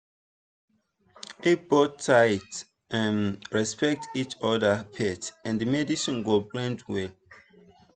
if both sides um respect each other faith and medicine go blend well.